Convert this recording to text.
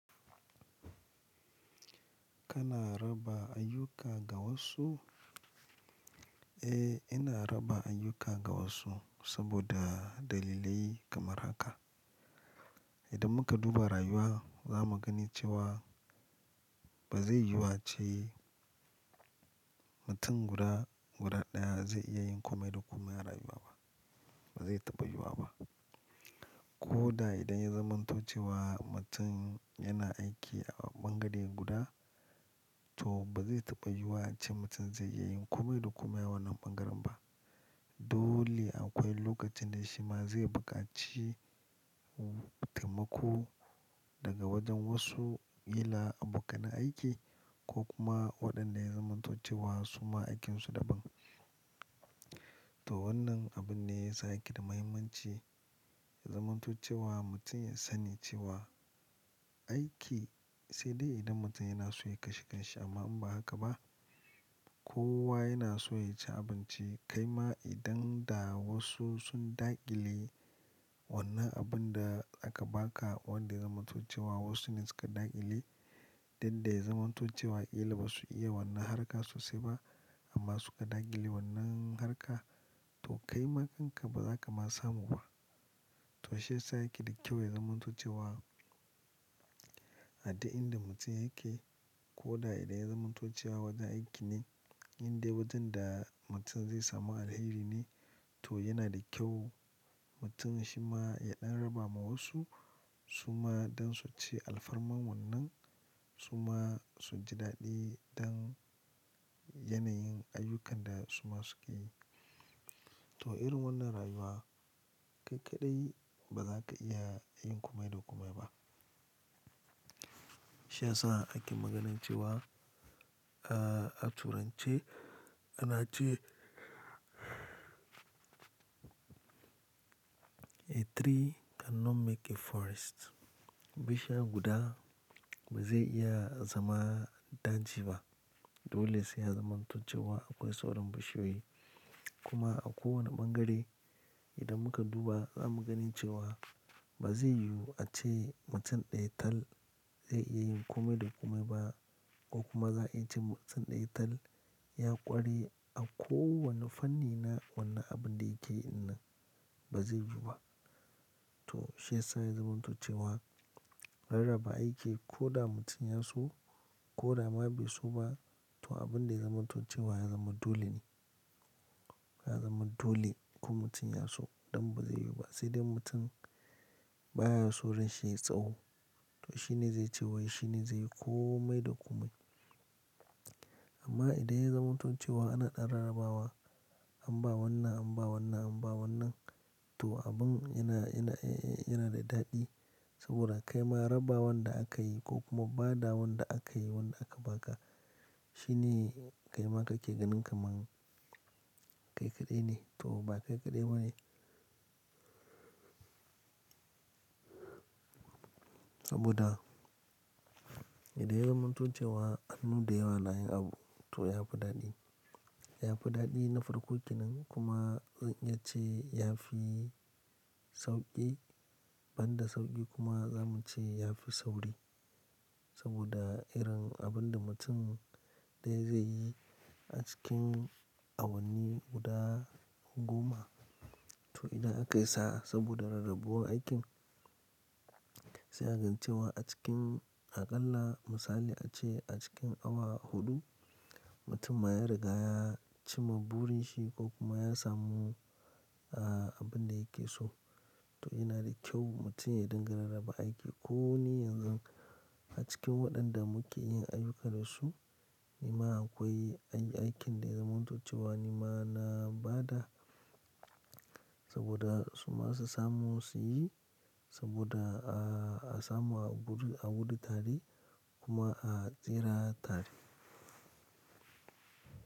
Kana raba ayyuka ga wasu? Eh, ina raba ayyuka ga wasu saboda dalilai kamar haka. Idan muka duba rayuwa za mu gani cewa, ba zai yiwu ace mutum guda ɗaya zai iya yin komai da komai a rayuwa ba. Ba zai taɓa yiwuwa ba. Ko da idan ya zamanto cewa mutum yana aiki a ɓangare guda, to ba zai taɓa yiwuwa ace mutum zai iya yin komai da komai a wannan ɓangaren ba. Dole akwai lokacin da shi ma zai buƙaci taimako daga wajen wasu, kila abokan aiki ko kuma waɗanda ya zamanto cewa su ma aikinsu daban. To wannan abun ne ya sa yake da mahimmanci zamanto cewa mutum ya sani cewa, aiki sai dai idan mutum yana so ya kashe kansa amma in ba haka ba kowa yana so ya ci abinci. Kai ma idan da wasu sun daƙile wannan abin da aka baka wanda zamanto cewa wasu ne suka daƙile, dan da ya zamanto cewa wa kila ba su iya wannan harka sosai ba amma suka daƙile wannan harka to kaima dinka ba za ka ma samu ba. To shiyasa yake da kyau ya zamanto cewa, a duk in da mutum yake, ko da idan ya zamanto cewa wajen aiki ne, indai wajen da mutum zai samu alheri ne, to yana da kyau mutum shi ma ya ɗan raba ma wasu su ma don su ci alfarma wannan, su ma su ji daɗi don yanayin ayyukan da su ma suke yi. To irin wannan rayuwa ƙaiƙaɗai ba za ka iya yin komai da komai ba. Shi ya sa ake maganar cewa, ah a turanci ana ce; "a tree cannot make a forest". Bishiya guda ba zai iya zama daji ba. Dole sai a zamanto cewa akwai sauran bishiyoyi. Kuma a kowane ɓangare idan muka duba za mu gani cewa, ba zai yiwu ace mutum ɗaya tal zai iya yin komai da komai ba ko kuma za'a yi ce mutum ɗaya tal ya ƙware a kowane fanni na wannan abin da yake yi ɗinnan. Ba zai yiwu ba. To shi ya sa ya zamanto cewa, rarraba aiki ko da mutum ya so, ko da ma bai so ba to abin da ya zamanto cewa ya zama dole ne. Ya zama dole, ko mutum ya so, don ba zai yiwu ba sai dai mutum baya so ran shi yayi tsawo. To shi ne zai ce wai shi ne zai yi komai da komai. Amma idan ya zamanto cewa ana ɗan rarrabawa, an ba wannan, an ba wannan, an ba wannan to abin yana, yana, eh, eh yana da daɗi saboda kai ma rabawanda aka yi ko kuma badawanda aka yi wanda aka baka. Shi ne kaima kake ganin kamar ƙaiƙaɗai ne to ba ƙaiƙaɗai ba ne. Saboda idan ya zamanto cewa ku dayawa na yi abu, to ya fi daɗi. Ya fi daɗi na farko kenan kuma zan iya ce ya fi sauƙi, ban da sauƙi kuma za mu ce ya fi sauri. Saboda irin abin da mutum ɗaya zai yi a cikin awanni guda goma, to idan akayi sa'a, saboda rarrabuwar aikin sai a gani cewa a cikin aƙalla misali a ce a cikin awa huɗu, mutum ma ya riga ya cimma burin shi, ko kuma ya samu abin da yake so. To yana da kyau mutum ya dinga rarraba aiki. Ko ni yanzu a cikin waɗanda muke yin ayyuka da su, ni ma akwai aikin da ya zamantace wa ni ma na ba da saboda su ma su samu su yi saboda, a samu a gudu tare kuma a tsira tare.